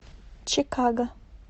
чикаго